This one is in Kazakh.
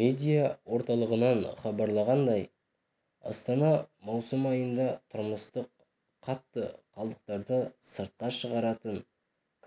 медиа орталығынан хабарланғандай астанада маусым айында тұрмыстық қатты қалдықтарды сыртқа шығаратын